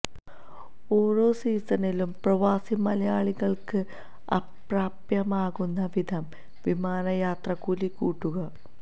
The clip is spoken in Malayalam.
ഓരോ സീസണിലും പ്രവാസി മലയാളികള്ക്ക് അപ്രാപ്യമാകുന്ന വിധം വിമാന യാത്രാക്കൂലി കൂട്ടുക